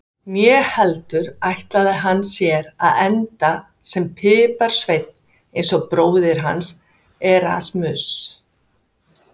Né heldur ætlaði hann sér að enda sem piparsveinn eins og bróðir hans, Erasmus.